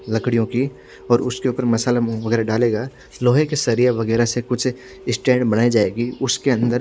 लकडियो की और उसके ऊपर मसला मोंग वगेरह डालेगा लोहे के सरिये वगेरह से कुछ स्टैंड वगेरह बनाई जायेगि उसके अंदर--